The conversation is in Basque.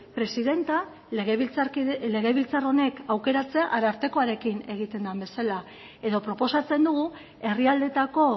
presidentea legebiltzar honek aukeratzea arartekoarekin egiten den bezala edo proposatzen dugu herrialdeetako